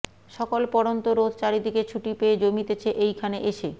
সকল পড়ন্ত রোদ চারি দিকে ছুটি পেয়ে জমিতেছে এইখানে এসে